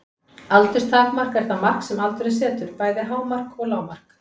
Aldurstakmark er það mark sem aldurinn setur, bæði hámark og lágmark.